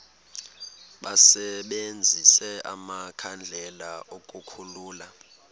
basebenzise amakhandlela ukukhulula